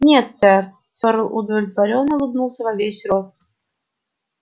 нет сэр фёрл удовлетворённо улыбнулся во весь рот